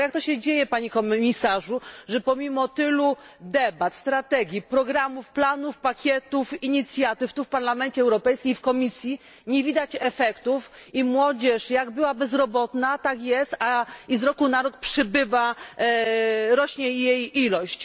Jak to się bowiem dzieje, Panie Komisarzu, że pomimo tylu debat, strategii, programów, planów, pakietów, inicjatyw tu w Parlamencie Europejskim, w Komisji nie widać efektów i młodzież jak była bezrobotna, tak jest, i z roku na rok rośnie jej liczba?